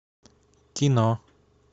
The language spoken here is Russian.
кино